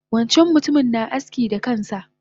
Wancan mutumin na aski da kansa